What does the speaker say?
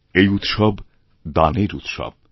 এই উৎসব দানের উৎসব